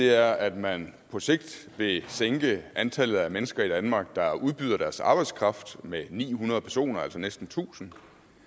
er at man på sigt vil sænke antallet af mennesker i danmark der udbyder deres arbejdskraft med ni hundrede personer altså næsten tusind